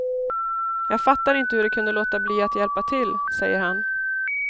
Jag fattar inte hur de kunde låta bli att hjälpa till, säger han.